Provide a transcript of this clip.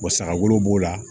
saga wolo b'o la